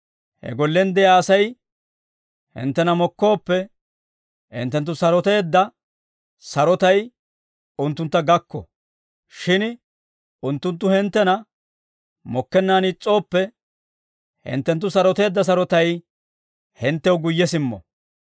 He gollen de'iyaa Asay hinttena mokkooppe, hinttenttu saroteedda sarotay unttuntta gakko. Shin unttunttu hinttena mokkennaan is's'ooppe, hinttenttu saroteedda sarotay hinttew guyye simmo.